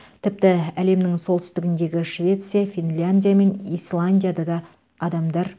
тіпті әлемнің солтүстігіндегі швеция финляндия мен исландияда да адамдар